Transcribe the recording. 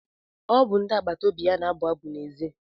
Ọ bụ ndị agbata obi na-abụ abụ n'èzí.